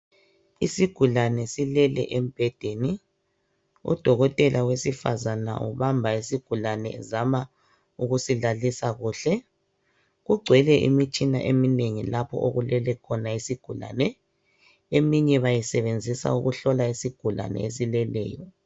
Isigulane silele embhedeni udokotela wesifazana ubamba isigulane ezama ukusilalisa kuhle kugcwele imitshina eminengi lapho okulele khona isigulane eminye bayisebenzisa ukuhlola isigulane esileleyo.